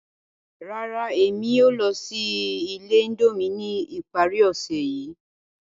Rárá, Emi kii yóò lọ si ile Indomie ni ipari ose yii.